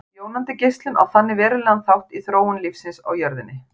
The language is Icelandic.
Jónandi geislun á þannig verulegan þátt í þróun lífsins á jörðinni.